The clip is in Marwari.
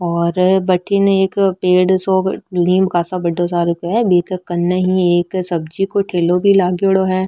और भटीन एक पेड़ सो नीम का सा बड़ा सा सब्जी को ठेलो भी लागेड़ो है।